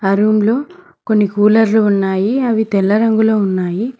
ఆ రూమ్లో కొన్ని కూలర్లు ఉన్నాయి అవి తెల్ల రంగులో ఉన్నాయి.